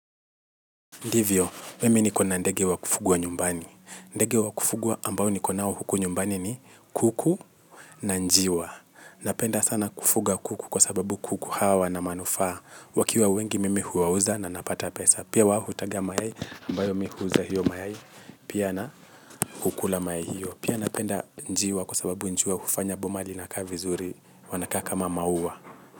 Ndivyo, mimi niko na ndege wa kufugwa nyumbani. Ndege wa kufugwa ambao niko nao huku nyumbani ni kuku na njiwa. Napenda sana kufuga kuku kwa sababu kuku hawa wana manufaa. Wakiwa wengi mimi huwauza na napata pesa. Pia wao hutaga mayai ambayo mimi huuza hiyo mayai. Pia na kukula mayai hiyo. Pia napenda njiwa kwa sababu njiwa hufanya boma linakaa vizuri wanakaa kama maua.